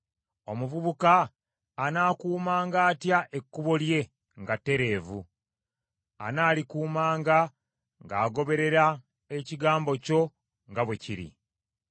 Omuvubuka anaakuumanga atya ekkubo lye nga ttereevu? Anaalikuumanga ng’agoberera ekigambo kyo nga bwe kiri.